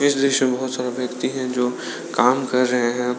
दृश्य में बहुत सारा व्यक्ति है जो काम कर रहे है।